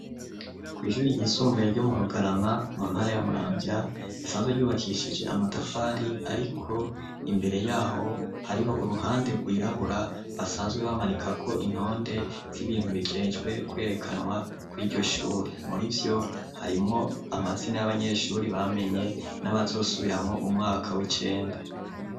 Kw'ishure ryisumbuye ryo mu Bugarama, mu ntara ya Muramvya, risanzwe ryubakishije amatafari ariko imbere y'aho hariho uruhande rwirabura basanzwe bamanikako intonde z'ibintu bijejwe kwerekanwa kuri iryo shure. Murivyo harimwo amazina y'abanyeshure bamenye n'abazosubiramwo umwaka w'icenda.